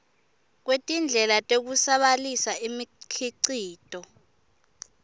kwetindlela tekusabalalisa imikhicito